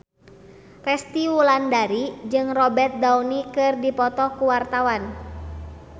Resty Wulandari jeung Robert Downey keur dipoto ku wartawan